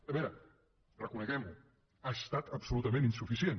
a veure reconeguem ho ha estat absolutament insuficient